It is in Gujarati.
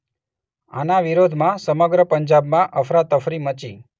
આના વિરોધમાં સમગ્ર પંજાબમાં અફરાતફરી મચી